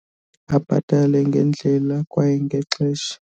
Abhatale ngendlela kwaye ngexesha.